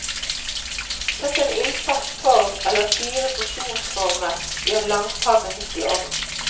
Sett en ildfast form eller fire porsjonsformer i en langpanne midt i ovnen.